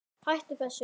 HÆTTU ÞESSU!